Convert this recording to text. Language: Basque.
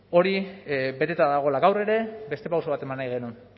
hori beteta dagoela gaur ere beste pauso bat eman nahi genuen